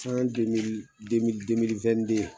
San